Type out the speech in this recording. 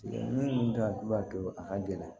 Min to a b'a to a ka gɛlɛn